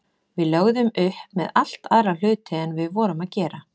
Við lögðum upp með allt aðra hluti en við vorum að gera.